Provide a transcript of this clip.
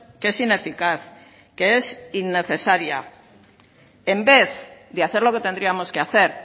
que es ineficaz que es innecesaria en vez de hacer lo que tendríamos que hacer